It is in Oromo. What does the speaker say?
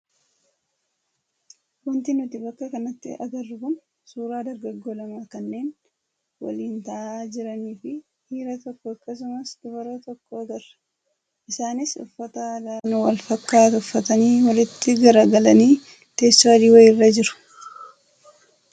Wanti nuti bakka kanatti agarru kun suuraa dargaggoo lamaa kanneen waliin taa'aa jiranii fi dhiira tokko akkasumas dubara tokko agarra. Isaanis uffata aadaa kan wal fakkaatu uffatanii walitti garagalanii teessoo adii wayiirra jiru.